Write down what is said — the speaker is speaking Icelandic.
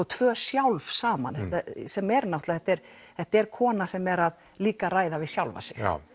tvö sjálf saman sem er þetta er þetta er kona sem er líka að ræða við sjálfa sig já